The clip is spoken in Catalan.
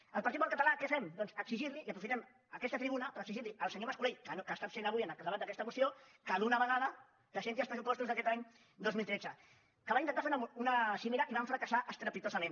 el partit popular català què fem doncs aprofitem aquesta tribuna per exigir al senyor mas colell que està absent avui en el debat d’aquesta moció que d’una vegada presenti els pressupostos d’aquest any dos mil tretze que van intentar fer una cimera i van fracassar estrepitosament